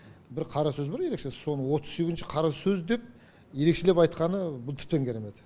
бір қара сөз бар ерекше соны отыз сезізінші қара сөз деп ерекшелеп айтқаны бұл тіптен керемет